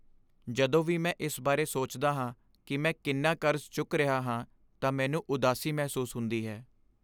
ਜਦੋਂ ਵੀ ਮੈਂ ਇਸ ਬਾਰੇ ਸੋਚਦਾ ਹਾਂ ਕਿ ਮੈਂ ਕਿੰਨਾ ਕਰਜ਼ਾ ਚੁੱਕ ਰਿਹਾ ਹਾਂ ਤਾਂ ਮੈਨੂੰ ਉਦਾਸੀ ਮਹਿਸੂਸ ਹੁੰਦੀ ਹੈ।